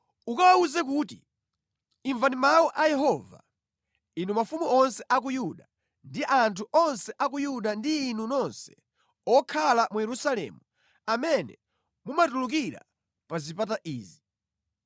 Ukawawuze kuti, ‘Imvani mawu a Yehova, inu mafumu onse a ku Yuda ndi anthu onse a ku Yuda ndi inu nonse okhala mu Yerusalemu amene mumatulukira pa zipata izi.’